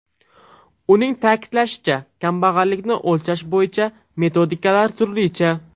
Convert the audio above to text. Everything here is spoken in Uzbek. Uning ta’kidlashicha, kambag‘allikni o‘lchash bo‘yicha metodikalar turlicha.